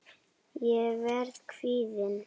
Ég verð kvíðin.